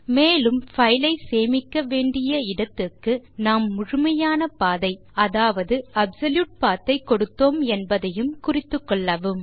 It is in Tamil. மேலும் பைலை சேமிக்க வேண்டிய இடத்துக்கு நாம் முழுமையான பாதை அதாவது அப்சொல்யூட் பத் ஐ கொடுத்தோம் என்பதையும் குறித்துக்கொள்ளுங்கள்